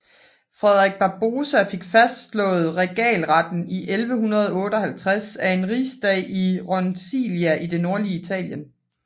Frederik Barbarossa fik fastslået regaleretten i 1158 af en rigsdag i Roncalia i det nordlige Italien